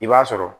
I b'a sɔrɔ